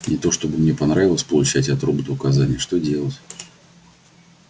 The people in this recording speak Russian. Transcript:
не то чтобы мне понравилось получать от робота указания что делать